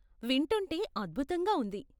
వింటుంటే అద్భుతంగా ఉంది.